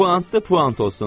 Puantdır, puant olsun.